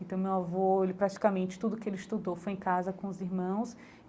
Então meu avô, ele praticamente tudo o que ele estudou foi em casa com os irmãos.